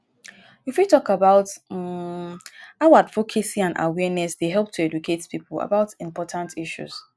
you fit talk about um how advocacy and awareness dey help to educate people about important issues.